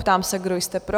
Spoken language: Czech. Ptám se, kdo jste pro?